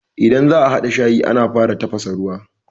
Idan za'a haɗa shayi, ana fara tafasa ruwa.